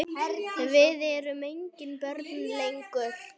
Við erum engin börn lengur.